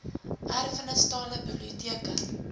erfenis tale biblioteke